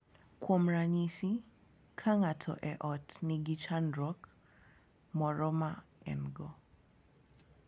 Kuom ranyisi, ka ng’ato e ot nigi chandruok moro ma en-go,